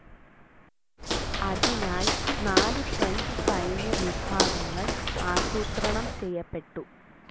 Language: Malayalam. അതിനായി നാല് ഫ്രഞ്ച്‌ സൈന്യ വിഭാഗങ്ങൾ ആസൂത്രണം ചെയ്യപ്പെട്ടു.